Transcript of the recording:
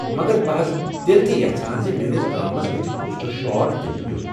مگر بہٕ حض تیٚلہِ تہِ یژھان زِ میٲنِس گامَس گژھہِ بوسٹر شاٹ دِنہٕ یُن۔